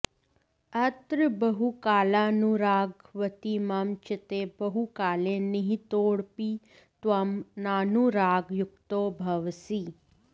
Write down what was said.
अत्र बहुकालानुरागवति मम चित्ते बहुकाले निहितोऽपि त्वं नानुरागयुक्तो भवसि